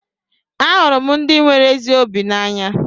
Ahụrụ m ndị nwere ezi obi n'anya.